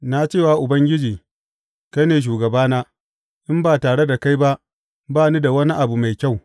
Na ce wa Ubangiji, Kai ne shugabana; in ba tare da kai ba, ba ni da wani abu mai kyau.